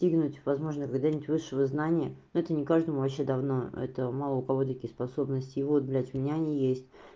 достигнуть возможно когда-нибудь высшего знания это не каждому вообще давно это мало у кого такие способности и вот блядь у меня они есть